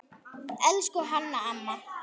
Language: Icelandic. Elsku Hanna amma.